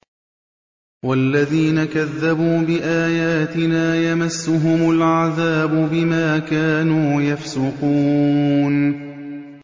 وَالَّذِينَ كَذَّبُوا بِآيَاتِنَا يَمَسُّهُمُ الْعَذَابُ بِمَا كَانُوا يَفْسُقُونَ